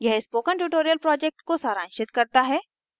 यह spoken tutorial project को सारांशित करता है